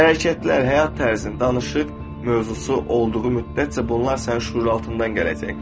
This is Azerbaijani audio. Hərəkətlər, həyat tərzi, danışıq mövzusu olduğu müddətcə bunlar sənin şüuraltından gələcək.